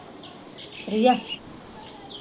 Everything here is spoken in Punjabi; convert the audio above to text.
ਪ੍ਰਿਆ?